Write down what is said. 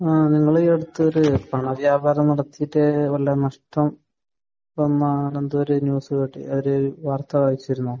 ആഹ്. നിങ്ങൾ ഈ അടുത്ത് ഒരു പണവ്യാപാരം നടത്തിയിട്ട് വല്ല നഷ്ടം വന്ന് അങ്ങനെയെന്തോ ഒരു ന്യൂസ് കേട്ട് ഒരു വാർത്ത വായിച്ചിരുന്നോ?